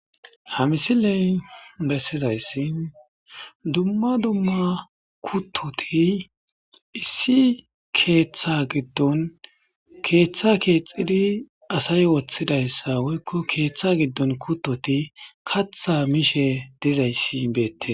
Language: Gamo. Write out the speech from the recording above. hamisiley bessizayssin dumma dumma kuttoti issi keeththa giddon keeththa keexxidi asay woththidayssa woykko keeththa giddon kuttoti katha mishe dizayssi beette